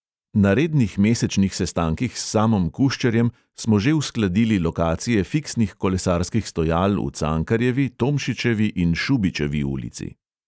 Na rednih mesečnih sestankih s samom kuščerjem smo že uskladili lokacije fiksnih kolesarskih stojal v cankarjevi, tomšičevi in šubičevi ulici.